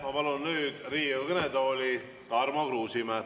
Ma palun nüüd Riigikogu kõnetooli Tarmo Kruusimäe.